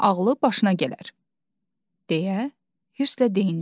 Ağılı başına gələr, deyə hüsrlə deyindim.